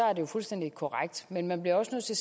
er det jo fuldstændig korrekt men man bliver også nødt til